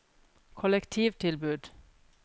kollektivtilbud